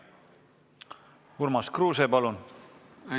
Urmas Kruuse, palun!